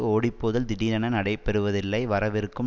ஓடிப்போதல் திடீரென நடைபெறுவதில்லை வரவிருக்கும்